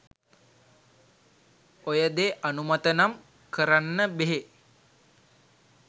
ඔය දෙ අනුමත නම් කරන්න බෙහෙ